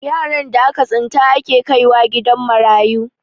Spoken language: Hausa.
yaran da aka tsinta ake kaiwa gidan marayu